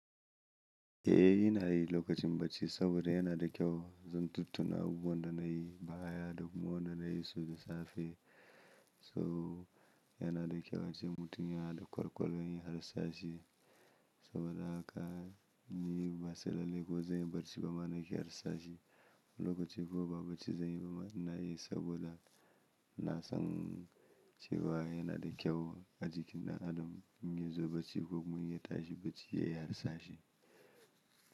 Eh ina yi lokacin bacci saboda yana da kyau zan tuttuna abubuwan da na yi baya da kuma wanda na yi su da safe. So yana da kyau a ce mutum yana da kwakwalwar lharsashi saboda haka ni ba sai lallai ko zan yi bacci ba ma na ke harsashi. Lokacin kuma ba bacci zan yi ba ma ina yi saboda na san cewa yana da kyau ajikin ɗan adam in ya zo bacci ko kuma in ya tashi bacci ya yi harsashi.